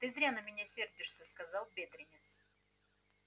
ты зря на меня сердишься сказал бедренец